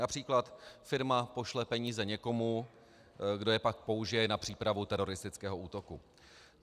Například firma pošle peníze někomu, kdo je pak použije na přípravu teroristického útoku.